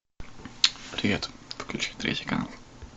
привет включи третий канал